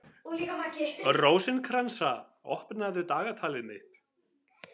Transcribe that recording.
Rósinkransa, opnaðu dagatalið mitt.